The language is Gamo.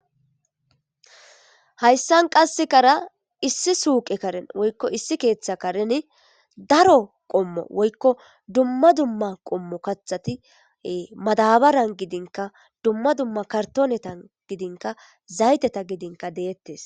Hayssan qassekara issi suuqe karen woykko issi keeththa kareni daro qommo woykko dumma dumma qommo kathatie madabaran gidinka dumma dumma kartoonetan gidinka zayteta gidinka deettes.